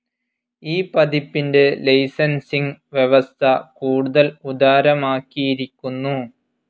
ഈ പതിപ്പിൻ്റെ ലൈസൻസിംഗ്‌ വ്യവസ്ഥ കൂടുതൽ ഉദാരമാക്കിയിരിക്കുന്നു.